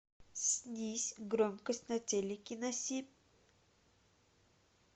снизь громкость на телике на семь